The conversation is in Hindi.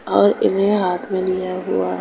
और इन्हे हाथ में लिया गया --